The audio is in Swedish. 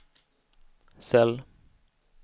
cell